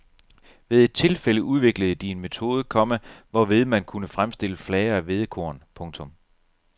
Ved et tilfælde udviklede de en metode, komma hvorved man kunne fremstille flager af hvedekorn. punktum